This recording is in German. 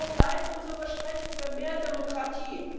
Wo bleibt unser Versprechen für mehr Demokratie?